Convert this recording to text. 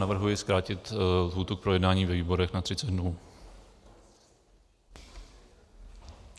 Navrhuji zkrátit lhůtu k projednání ve výborech na 30 dnů.